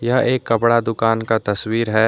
यह एक कपड़ा दुकान का तस्वीर है।